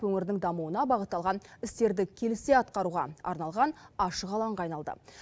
өңірдің дамуына бағытталған істерді келісе атқаруға арналған ашық алаңға айналды